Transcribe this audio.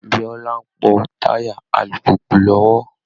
Bíọ́lá ń pọ́ táyà alùpùpù lọ́wọ́